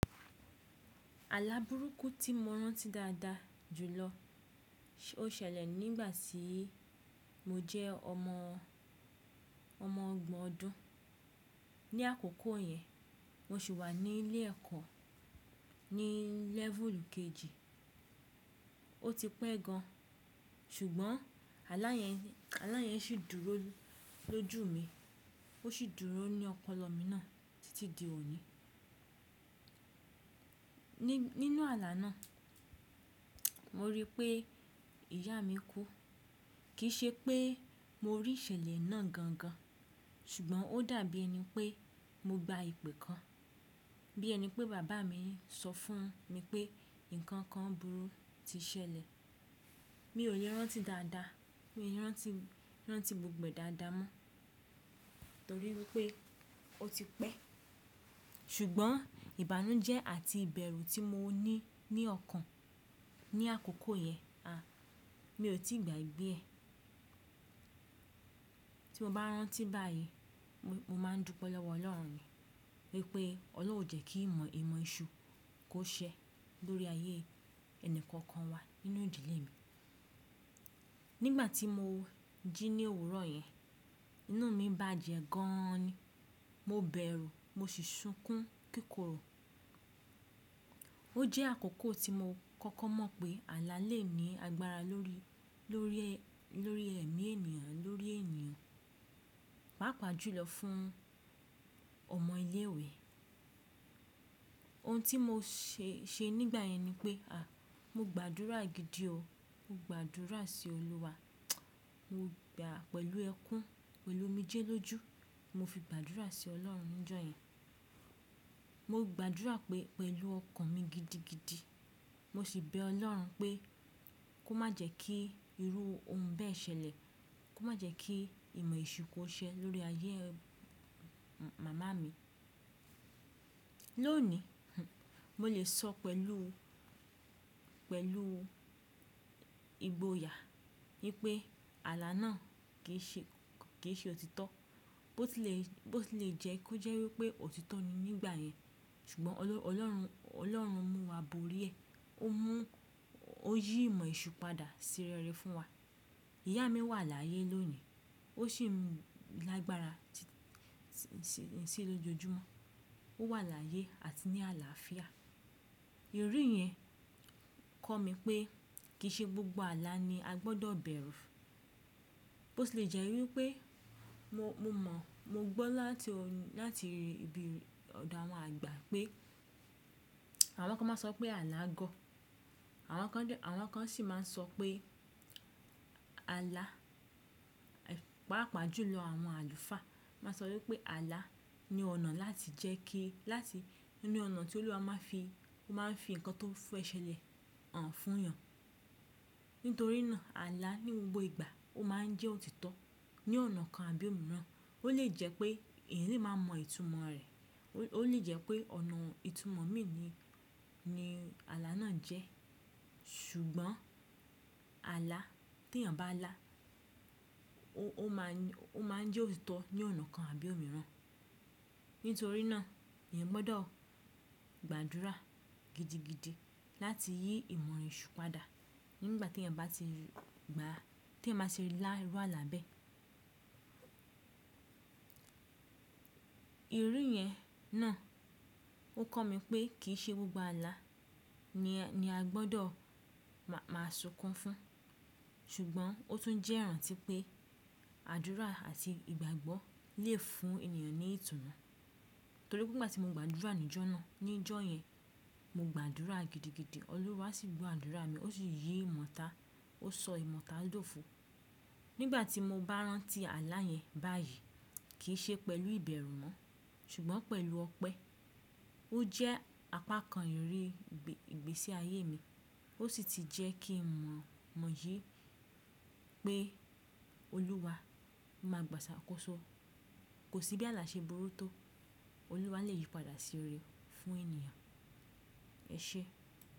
Àláa burúkú tí mo rántí dáadáa jùlọ ó ṣẹlẹ̀ nígbà tí mo jẹ́ ọmọ, ọmọ ọgbọ̀n ọdún. Ni àkókò yẹn, mo sì wà ní ilé ẹ̀kọ́ ní lẹ́fùùlù kejì. Ó ti pẹ́ gan, ṣùgbọ́n àlá yẹn, àlá yẹn sì dúró lójú mi, ó sì dúró ní ọpọlọ mi náà títí di òní. Nínú àlá náà, mo rí pé ìyá mi kú. Kì í ṣe pé mo rí ìṣẹ̀lẹ̀ náà gan gan, ṣùgbọ́n ó dàbí ẹni pé mo gba ìpè kan. Bí ẹni pé bàbá mi ń sọ fún mi pé nǹkan kan burú ti ṣẹlẹ̀. Mi ò lè rántí dáadáa, mi ò lè rántí, rántí gbogbo è dáadáa mọ́, torí wípé ó ti pẹ́. Ṣùgbọ́n ìbànújẹ́ àti ìbẹ̀rù tí mo ní ní ọkàn ní àkókò yẹn, a, mi ò tí ì gbagbé ẹ̀. Tí mo bá rántí báyìí, mo máa ń dúpẹ́ lọ́wọ́ Ọlọ́run wípé Ọlọ́run ò jẹ́ kí ìmọ̀, ìmọ̀ esù kó ṣẹ́ lórí ayé ẹni kankan wa nínú ìdílé mi. Nígbà tí mo jí ní òwúrọ̀ yẹn, inú mi bàjẹ́ gan an ni. Mo bẹ̀rù, mo sì sunkún kíkòrò. Ó jẹ́ àkókò tí mo kọ́kọ́ mọ̀ pé àlá lè ní agbára lórí, lórí ẹ, lórí ẹ̀mí ènìyàn, lórí ènìyàn, pàápàá jùlọ fún ọmọ ilé ìwé. Ohun tí mo ṣe, ṣe nígbà yẹn ni pé a, mo gbàdúrà gidi o. Mo gbàdúrà sí Olúwa, mo gbà pẹ̀lú ẹkún, pẹ̀lú omijé lójú. Mo fi gbàdúrà sí Ọlọ́run níjọ́ yẹn. Mo gbàdúrà pé, pẹ̀lú ọkàn mi gidigidi. Mo sì bẹ Ọlọ́run pé kó má jẹ́ kí irú ohun bẹ́ẹ̀ ṣẹlẹ̀, kó má jẹ́ kí ìmọ̀ eṣù kó ṣẹ́ lórí ayé màmá mi. Lónìí, mo lè sọ pẹ̀lú, pẹ̀lú ìgboyà wípé àlá náà kì í ṣe, kì í ṣe òtítọ́. Bó ti lè, bó ti lè jẹ́ kó jẹ́ wípé òtítọ́ ni nígbà yẹn, ṣùgbọ́n Ọlọ́run, Ọlọ́run mú wa borí ẹ̀. Ó mú, ó yí ìmọ̀ esù padà sí rere fún wa. Ìyá mi wà láyé lónìí, ó sì ń lágbára sì í lójoojúmọ́. Ó wà láyé àti ní àlàáfíà. Irú yẹn kọ́ mi pé kì í ṣe gbogbo àlá ni a gbọ́dọ̀ bẹ̀rù. Bo ti lè jẹ́ wípé mo mọ̀, mo gbọ́ láti, láti ibi ọ̀dọ̀ àwọn àgbà pé àwọn kan máa ń sọ pé alá gọ̀. Àwọn kan sì máa ń sọ pé alá. Pàápàá jùlọ àwọn Àlùfáà máa ń sọ wípé alá ni ọ̀nà láti jẹ́ kí, láti nínú ọ̀nà tí Olúwa máa ń fi, ó máa ń fi nnkan tó fẹ ṣẹlẹ̀ hàn fúnyàn. Nítorí náà àlá ní gbogbo ìgbà ó máa ń jẹ́ òtítọ́ ní ọ̀nà kan àbí òmíràn. Ó lè jẹ́ pé èeyan le máa mọ ìtumọ̀ rẹ̀. Ó lè jẹ́ pé ọ̀nà ìtumọ̀ mi ni, ni àlá náà jẹ́. Ṣùgbọ́n àlá, tí èèyàn bá alá, ó máa ń jẹ́ òtítọ́ ní ọ̀nà kan àbí òmíràn. Nítorí náà, èèyàn gbọ́dọ̀ gbàdúrà gidigidi láti yí ìmọ̀ eṣù padà nígbà tí èèyàn bá ti gba, tí eeyan ba ti lá iru àlá bẹ́ẹ̀. Irú yẹn náà ó kọ́ mi pé kì í ṣe gbogbo àlá ni a gbọ́dọ̀ máa sunkún fún. Ṣùgbọ́n ó tún jẹ́ ìrántí pé àdúrà àti ìgbàgbọ́ lè fún ènìyàn ní ìtùnú. Torí pé ìgbà tí mo gba àdúrà níjọ́ náà, níjọ́ yẹn, mo gba àdúrà gidigidi. Olúwa sì gbọ àdúrà mi, ó sì yí ìmọ̀ ota, ó sọ ìmọ̀ ota dófo. Nígbà tí mo bá rántí àlá yẹn báyìí, kì í ṣe pẹ̀lú ìbẹ̀rù mọ́, ṣùgbọ́n pẹ̀lú ọpẹ́. Ó jẹ́ apá kan ìríri ìgbésí ayé mi. Ó sì ti jẹ́ kí n mọ̀, mọ̀ yìí pé Olúwa máa gbàṣàkóso. Kò sí bí àlá ṣe burú tó, Olúwa lè yí padà sí ire fún ènìyàn. Ẹ ṣé.